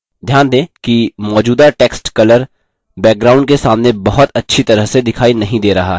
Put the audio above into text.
ध्यान दें कि मौजूदा text color background के सामने बहुत अच्छी तरह से दिखाई नहीं दे रहा है